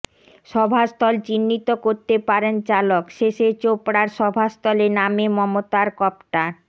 সভাস্থল চিহ্নিত করতে পারেন চালক শেষে চোপড়ার সভাস্থলে নামে মমতার কপ্টার